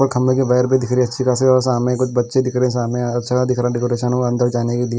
और खम्बे के बगैर भी दिख रहे अच्छे खासे और सामने कुछ बच्चे दिख रहे हैं सामने अच्छा दिख रहा डेकोरेशन अंदर जाने के लिए।